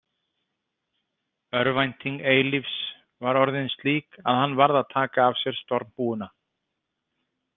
Örvænting Eilífs var orðin slík að hann varð að taka af sér stormhúfuna.